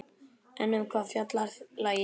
En um hvað fjallar lagið?